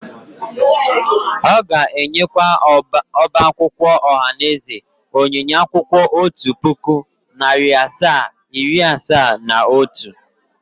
Ó ga-enyekwa ọba akwụkwọ ohanaeze onyinye akwụkwọ otu puku, nari asaa, iri asaa na otu.